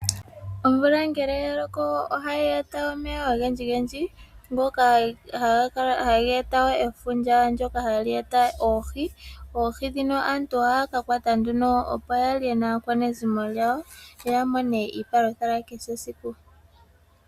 Omvula ngele yaloko ohayi eta omeya ogendji gendji ngoka haga eta efundja ndoka hali eta oohi. Aantu ohaya kakwata oohi opo yalye naakwanezimo yawo yo yamone iipalutha yakehe esiku.